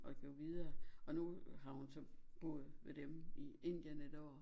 Og blev videre og nu har hun så boet ved dem i Indien et år